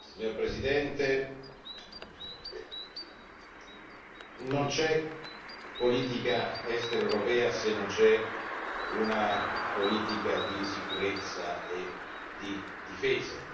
Signora Presidente, non c'è politica estera europea se non c'è una politica di sicurezza e di difesa.